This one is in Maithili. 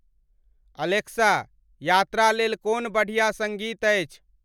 अलेक्सा ,यात्रा लेल कोन बढ़िया संगीत अछि